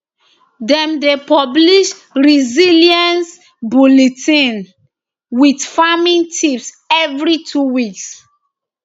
dem dey publish resilience bulletin wit farming tips every two weeks